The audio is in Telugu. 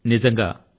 అని భావం